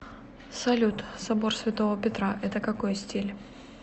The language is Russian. салют собор святого петра это какой стиль